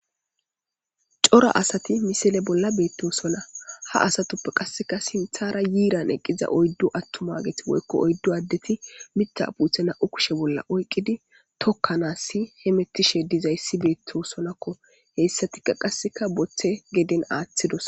Cora asati misilen beettosona ha asatappe sinthan beettizay haara yiira eqqida oyddu attuma woykko oyddu addeti miththa puute nam7u kushe bolla oyqqidi tokkanaska beettosona hessatika qasse botte aaththidosona.